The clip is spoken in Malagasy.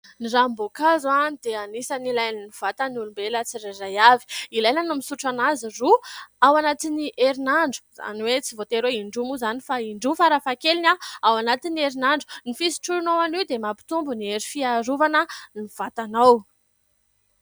Ny ranomboakazo dia anisany ilain'ny vatan'ny olombelona tsirairay avy. Ilaina ny misotro azy, roa ao anatin'ny herinandro. Izany hoe tsy voatery indroa moa izany fa indroa farafahakeliny ao anatin'ny herinandro. Ny fisotroanao anio dia mampitombo ny hery fiarovana ny vatanao.